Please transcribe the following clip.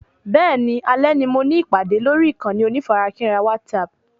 Bẹ́ẹ̀ni, alè ni mo ní ìpàdé lórí ìkànnì onífarakínra WhatsApp